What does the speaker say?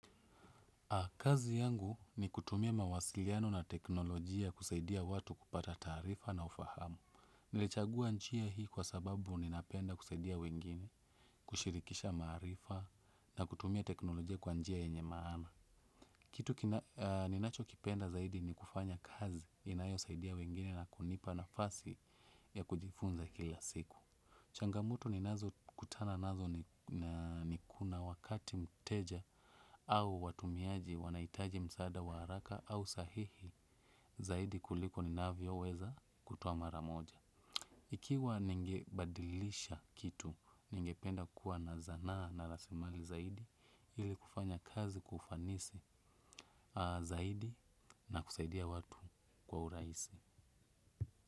Kazi yangu ni kutumia mawasiliano na teknolojia kusaidia watu kupata taarifa na ufahamu. Nilichagua njia hii kwa sababu ninapenda kusaidia wengine, kushirikisha maarifa na kutumia teknolojia kwa njia yenye maana. Kitu ninachokipenda zaidi ni kufanya kazi inayosaidia wengine na kunipa nafasi ya kujifunza kila siku. Changamoto ninazokutana nazo ni kuna ni kuna wakati mteja au watumiaji wanahitaji msaada wa haraka au sahihi zaidi kuliko ninavyoweza kutoa mara moja. Ikiwa ningebadilisha kitu ningependa kuwa na zanaa na rasilimali zaidi ili kufanya kazi kwa ufanisi zaidi na kusaidia watu kwa urahisi.